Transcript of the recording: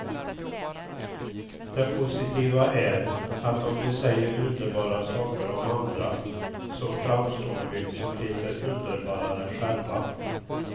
Det positiva är att om vi säger underbara saker om andra så framstår vi som lite underbarare själva.